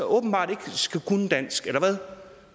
åbenbart ikke skal kunne dansk eller hvad